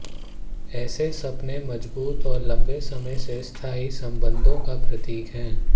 ऐसे सपने मजबूत और लंबे समय से स्थायी संबंधों का प्रतीक है